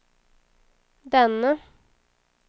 denne